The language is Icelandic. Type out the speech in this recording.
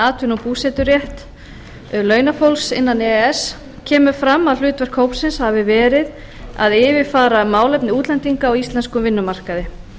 atvinnu og búseturétt launafólks innan e e s kemur fram að hlutverk hópsins hafi verið að yfirfara málefni útlendinga á íslenskum vinnumarkaði